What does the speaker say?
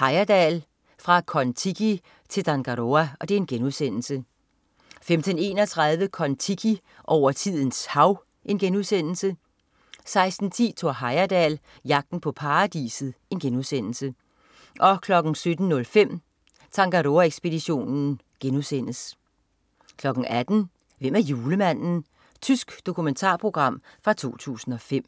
Heyerdahl. Fra Kon-Tiki til Tangaroa* 15.31 Kon-Tiki. Over tidens hav* 16.10 Thor Heyerdahl. Jagten på paradiset* 17.05 Tangaroa ekspeditionen* 18.00 Hvem er julemanden? Tysk dokumentarprogram fra 2005